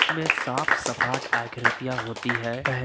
में साफ सपाट आकृतियां होती है पह--